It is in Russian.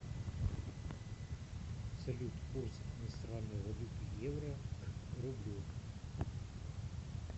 салют курс иностранной валюты евро к рублю